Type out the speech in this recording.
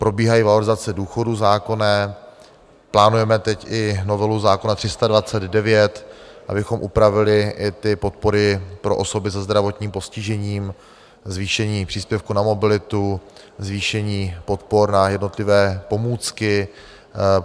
Probíhají valorizace důchodů, zákonné, plánujeme teď i novelu zákona 329, abychom upravili i ty podpory pro osoby se zdravotním postižením, zvýšení příspěvku na mobilitu, zvýšení podpor na jednotlivé pomůcky.